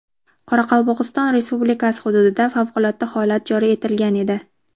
Qoraqalpog‘iston Respublikasi hududida favqulodda holat joriy etilgan edi.